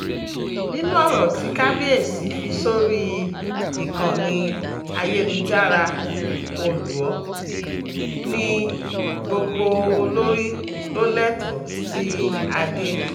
nínú ọ̀rọ̀ tí kábíẹ́sì fi sórí ìkànnì ayélujára olú́ọ̀ọ́ ni gbogbo olórí ló lẹ́tọ̀ọ́ sí adé